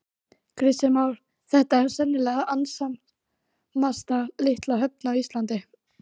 Kristján Már: Þetta er sennilega annasamasta litla höfn á Íslandi?